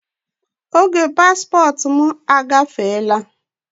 Paspọtụ m emebiela.